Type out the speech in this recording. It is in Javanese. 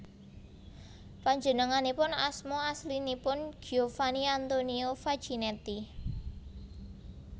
Panjenenganipun asma aslinipun Giovanni Antonio Facchinetti